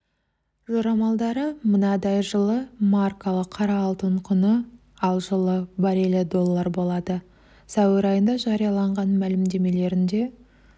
жорамалдары мынадай жылы маркалы қара алтын құны ал жылы баррелі доллар болады сәуір айында жариялаған мәлімдемелерінде